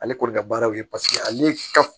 Ale kɔni ka baaraw ye ale ka